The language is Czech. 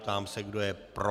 Ptám se, kdo je pro.